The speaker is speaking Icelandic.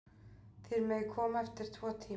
Þér megið koma eftir tvo tíma.